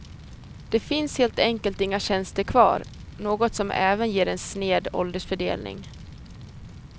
Det finns helt enkelt inga tjänster kvar, något som även ger en sned åldersfördelning.